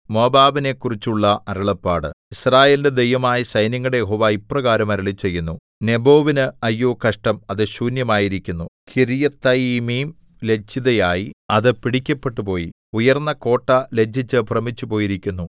മോവാബിനെക്കുറിച്ചുള്ള അരുളപ്പാട് യിസ്രായേലിന്റെ ദൈവമായ സൈന്യങ്ങളുടെ യഹോവ ഇപ്രകാരം അരുളിച്ചെയ്യുന്നു നെബോവിന് അയ്യോ കഷ്ടം അത് ശൂന്യമായിരിക്കുന്നു കിര്യത്തയീമീം ലജ്ജിതയായി അത് പിടിക്കപ്പെട്ടുപോയി ഉയർന്ന കോട്ട ലജ്ജിച്ചു ഭ്രമിച്ചുപോയിരിക്കുന്നു